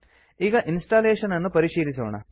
ಈಗ ಇನ್ಸ್ಟಾಲೇಶನ್ ಅನ್ನು ಪರಿಶೀಲಿಸೋಣ